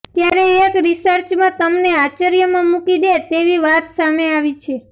ત્યારે એક રિસર્ચમાં તમને આશ્ચર્યમાં મૂકી દે તેવી વાત સામે આવી છે